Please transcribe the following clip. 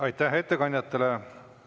Aitäh ettekandjatele!